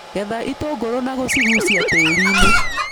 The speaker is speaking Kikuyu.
Getha itũngũrũ na gũcigucia tĩrirĩ.